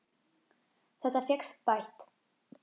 Þetta fékkst bætt.